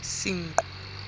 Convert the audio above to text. senqu